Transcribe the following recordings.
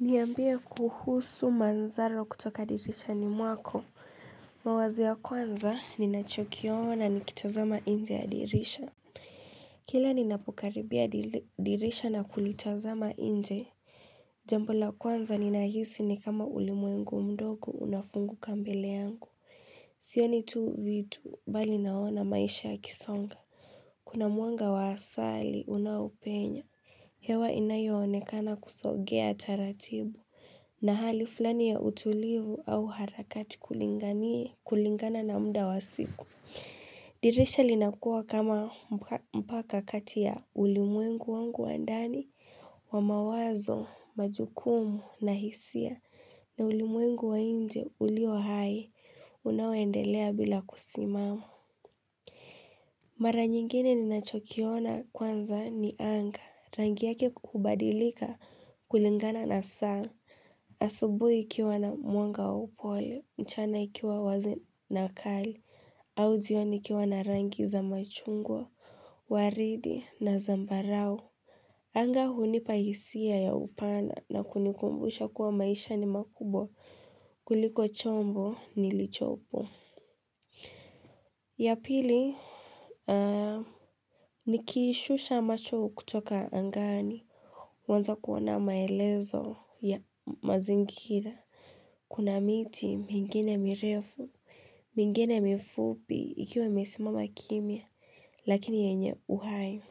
Niambia kuhusu mandhari kutoka dirisha ni mwako mawazo ya kwanza ninachokiona na nikitazama nje ya dirisha Kila ninapokaribia dirisha na kulitazama nje Jambo la kwanza ninahisi ni kama ulimwengu mdogo unafunguka mbele yangu Sioni tu viu bali naona maisha yakisonga Kuna mwanga wa asali unaopenya hewa inayoonekana kusogea taratibu na hali fulani ya utulivu au harakati kulingana na muda wa siku dirisha linakuwa kama mpaka kati ya ulimwengu wangu wa ndani Wamawazo majukumu na hisia na ulimwengu wa nje ulio hai unaoendelea bila kusimama Mara nyingine ninachokiona kwanza ni anga rangi yake kubadilika kulingana na saa asubuhi ikiwa na mwanga wa upole nchana ikiwa wazi na kali au jioni ikiwa na rangi za machungwa waridi na zambarau Anga hunipa hisia ya upana na kunikumbusha kuwa maisha ni makubwa kuliko chombo nilichopo ya pili nikishusha macho kutoka angani, huanza kuona maelezo ya mazingira. Kuna miti mingine mirefu, mingine mifupi, ikiwa imesimama kimya, lakini yenye uhai.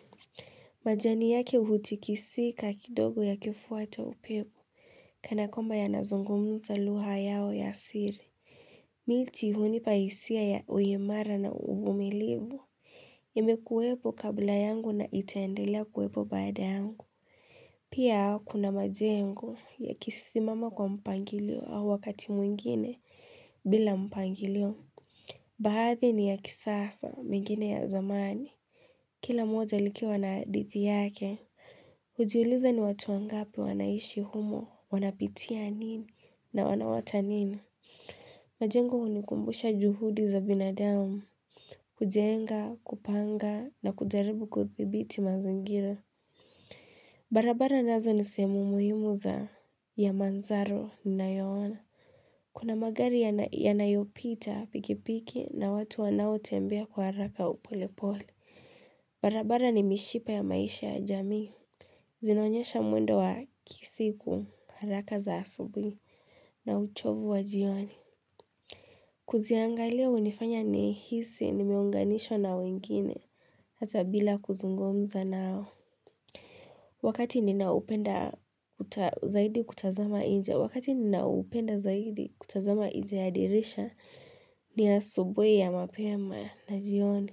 Majani yake hutikisika kidogo ya kifuata upepo Kanakwamba ya nazungumza lugha yao ya siri. Miti hunipa hisia ya uimara na uvumilibu. Imekuwepo kabla yangu na iteendelea kuwepo baada yangu. Piakuna majengo yakisimama kwa mpangilio au wakati mwingine bila mpangilio. Baadhi ni ya kisasa mengine ya zamani. Kila moja likiwa na hadhiti yake. Hujiuliza ni watu wangapi wanaishi humo, wanapitia nini na wanaota nini. Majengo unikumbusha juhudi za binadamu. Kujenga kupanga na kujaribu kuthibiti mazingira barabara nazo ni sehemu muhimu za ya mandhari ninayoana Kuna magari yanayopita pikipiki na watu wanaotembea kwa haraka au polepole barabara ni mishipa ya maisha ya jamii Zinonyesha mwendo wa kisiku haraka za asubuhi na uchovu wa jioni Kuziangalia unifanya nihisi nimeunganishwa na wengine Hata bila kuzungumza nao Wakati ninaupenda zaidi kutazama nje Wakati ninaupenda zaidi kutazama nje ya dirisha ni asubuhi ma mapema na jioni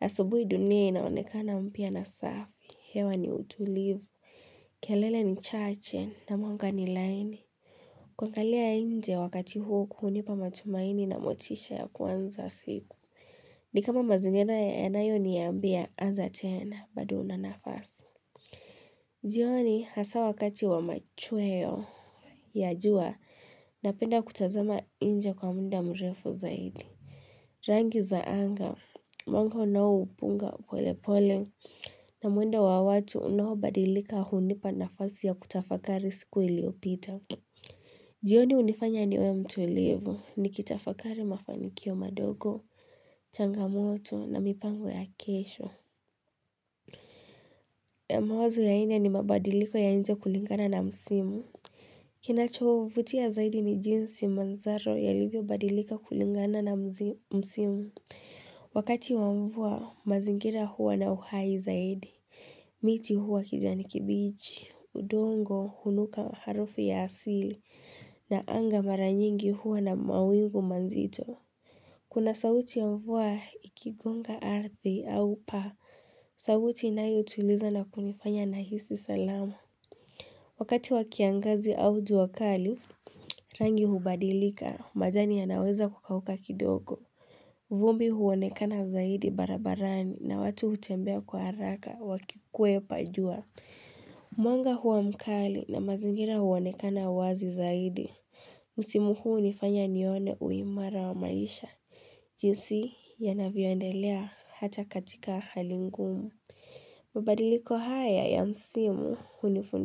asubuhi dunia inaonekana mpya na safi hewa ni utulivu kelele ni chache na mwanga ni laini Kuangali nje wakati huo hunipa matumaini na motisha ya kwanza siku Nikama mazingira ya nayo niambia anza tena bado unanafasi. Jioni hasa wakati wa machweo. Ya jua, napenda kutazama nje kwa muda mrefu zaidi. Rangi za anga, mwango unaopunga polepole na mwendo wa watu unaobadilika hunipa nafasi ya kutafakari siku iliopita. Jioni unifanya niwe mtulivu, nikitafakari mafanikio madogo, Changamoto na mipango ya kesho mawazo ya nne ni mabadiliko ya nje kulingana na msimu Kinachovutia zaidi ni jinsi manzaro yalivyo badilika kulingana na msimu Wakati wa mvua mazingira huwa na uhai zaidi miti huwa kijani kibichi udongo hunuka harufu ya asili na anga mara nyingi huwa na mawingu mazito Kuna sauti ya mvua ikigonga ardhi au pa, sauti inayo tuliza na kunifanya na hisia salama Wakati wa kiangazi au juwakali, rangi hubadilika, majani ya naweza kukauka kidogo. Vumbi huonekana zaidi barabarani na watu utembea kwa haraka, wakikwe pajua. Mwanga huwa mkali na mazingira huonekana wazi zaidi. Musimu huu unifanya nione uimara wa maisha. Jinsi yanavyoendelea hata katika hali ngumu. Mabadiliko haya ya msimu unifundisha.